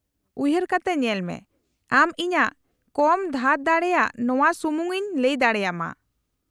-ᱩᱭᱦᱟᱹᱨ ᱠᱟᱛᱮ ᱧᱮᱞᱢᱮ ! ᱟᱢ ᱤᱧᱟᱹᱜ ᱠᱚᱢ ᱫᱷᱟᱨ ᱫᱟᱲᱮᱭᱟᱜᱼᱟ ᱱᱚᱶᱟ ᱥᱩᱢᱩᱝ ᱤᱧ ᱞᱟᱹᱭ ᱫᱟᱲᱮᱭᱟᱢᱟ ᱾